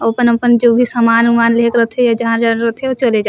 अपन-अपन जो भी सामान उमान ले के रथे जहाँ जरूरत हे ओ चले जा--